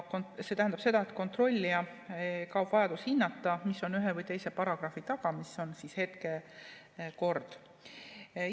See tähendab seda, et kontrollijal kaob vajadus hinnata, mis on ühe või teise paragrahvi taga, nagu toimub hetkel kehtiva korra järgi.